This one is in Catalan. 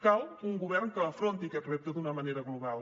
cal un govern que afronti aquest repte d’una manera global